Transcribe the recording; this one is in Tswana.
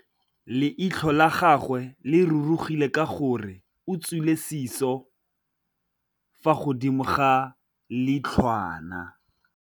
Leitlhô la gagwe le rurugile ka gore o tswile sisô fa godimo ga leitlhwana.